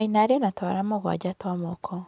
Maina arĩ na twara mũgwanja twa moko.